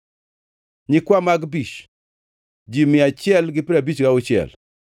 nyikwa Magbish, ji mia achiel gi piero abich gauchiel (156),